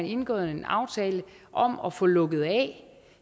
indgået en aftale om at få lukket af